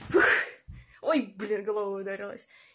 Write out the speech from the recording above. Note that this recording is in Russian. ой блин головой ударилась